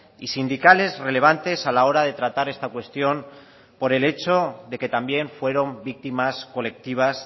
y sindicales relevantes a la hora de tratar esta cuestión por el hecho de que también fueron víctimas colectivas